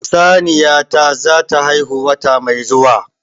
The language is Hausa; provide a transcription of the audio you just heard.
Saniya ta zata haihu wata mai zuwa